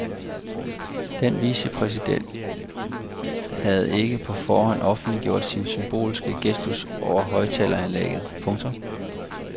Den vicepræsidenten havde ikke på forhånd offentliggjort sin symbolske gestus over højttaleranlægget. punktum